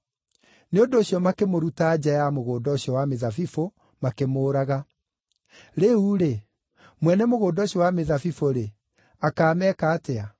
Nĩ ũndũ ũcio makĩmũruta nja ya mũgũnda ũcio wa mĩthabibũ, makĩmũũraga. “Rĩu-rĩ, mwene mũgũnda ũcio wa mĩthabibũ-rĩ, akaameka atĩa?